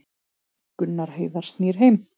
Gunnar Heiðar snýr heim